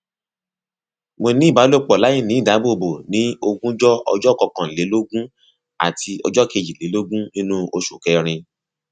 mo ní ìbálòpọ láìní ìdáàbòbò ní ogúnjọ ọjọ kọkànlélógún àti ọjọ kejìlélógún nínú oṣù kẹrin